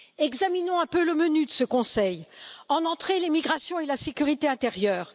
Examinons un peu le menu de ce Conseil en entrée, l'émigration et la sécurité intérieure.